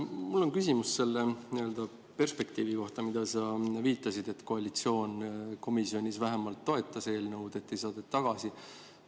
Mul on küsimus selle nii-öelda perspektiivi kohta, millele sa viitasid: et koalitsioon komisjonis vähemalt toetas eelnõu, ei saatnud tagasi.